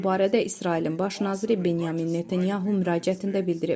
Bu barədə İsrailin baş naziri Benyamin Netanyahu müraciətində bildirib.